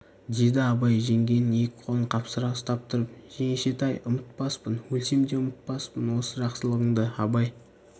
деді абай жеңгенің екі қолын қапсыра ұстап тұрып жеңешетай ұмытпаспын өлсем де ұмытпаспын осы жақсылығыңды абай